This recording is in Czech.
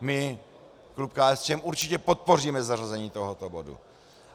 My, klub KSČM, určitě podpoříme zařazení tohoto bodu.